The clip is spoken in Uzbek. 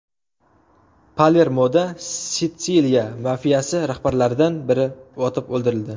Palermoda Sitsiliya mafiyasi rahbarlaridan biri otib o‘ldirildi.